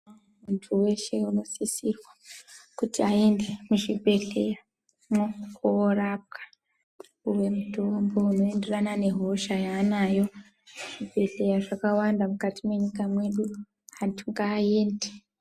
Vantu veshe vanosisirwa kuti aende muzvibhedhleyamwo korapwa kupuwe mitombo inoenderana nehosha yaanayo. Zvibhedhleya zvakawanda mukati mwenyika mwedu. Vantu ngaaende.